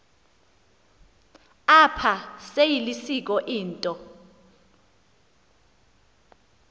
apha seyilisiko into